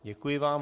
Děkuji vám.